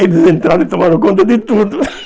Eles entraram e tomaram conta de tudo.